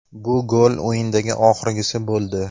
Bu gol o‘yindagi oxirgisi bo‘ldi.